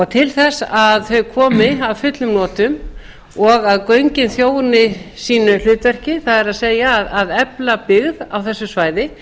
til þess að þau komi að fullum notum og að göngin þjóni sínu hlutverki það er að efla byggð á þessu svæði